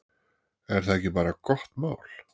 Er það ekki bara gott mál?